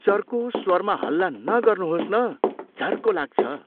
चर्को स्वरमा हल्ला नगर्नुहोस् न, झर्को लाग्छ।